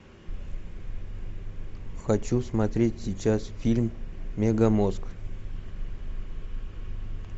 хочу смотреть сейчас фильм мегамозг